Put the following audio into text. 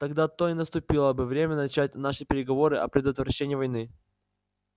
тогда-то и наступило бы время начать наши переговоры о предотвращении войны